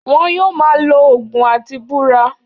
Won yóò máa lo ògùn láti búra